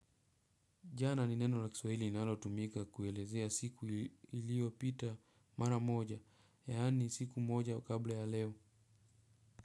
Jana ni neno la kiswahili inalotumika kuelezea siku iliyopita mara moja, yani siku moja kabla ya leo.